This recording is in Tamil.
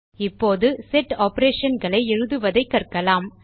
இப்போது செட் operationகளை எழுதுவதைக் கற்கலாம்